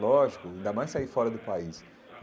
Lógico, ainda mais sair fora do país.